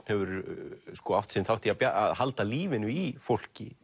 hefur átt sinn þátt í að halda lífinu í fólki